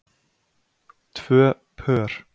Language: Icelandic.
Tvö pör.